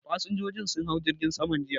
Fasinjojin sun hau jirgin saman jiya